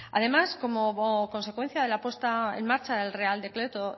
además como consecuencia de la puesta en marcha del real decreto